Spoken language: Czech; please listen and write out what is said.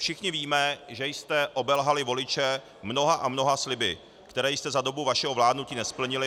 Všichni víme, že jste obelhali voliče mnoha a mnoha sliby, které jste za dobu vašeho vládnutí nesplnili -